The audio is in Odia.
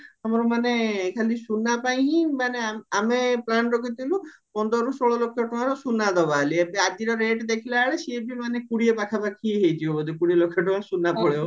ଆମର ମାନେ ଖାଲି ସୁନା ପାଇଁ ହିଁ ଆମେ plan ରଖିଥିଲୁ ପନ୍ଦରରୁ ଷୋଳ ଲକ୍ଷ ଟଙ୍କାର ସୁନା ଦବା ବୋଲି ଆଜିର rate ଦେଖିଲାବେଳେ ସିଏ ବି ମାନେ କୋଡିଏ ପାଖା ପାଖି ହେଇଯିବା ବୋଧେ କୋଡିଏ ଲକ୍ଷ ଟଙ୍କାର ସୁନା ପଳେଇବ